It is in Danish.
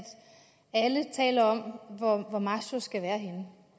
alle taler om hvor masho skal være henne